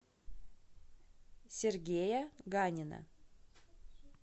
сергея ганина